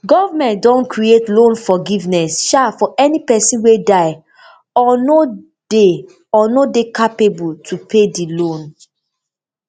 goment don create loan forgiveness um for any pesin wey die or no dey no dey capable to pay di loan